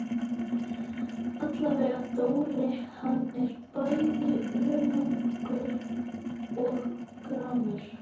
Allavega Dóri, hann er bæði önugur og gramur.